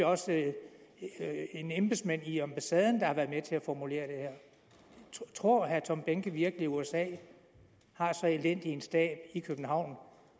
også en embedsmand i ambassaden der har været med til at formulere det her tror herre tom behnke virkelig at usa har så elendig en stab i københavn